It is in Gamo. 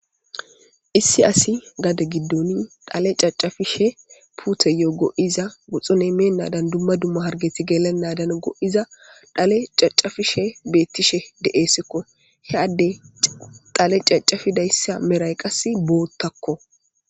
issi asi gada giddoni dhale cacafishe puuteyoo go7iza guxxune meen nadan dumma dumma hargeti gelanadan go7iza dhale cacafishe beettishe de7eesekko he adde xale cacafi dayssa meray qas boottakko